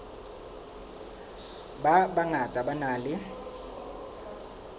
ba bangata ba nang le